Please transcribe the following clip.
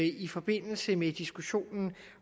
i forbindelse med diskussionen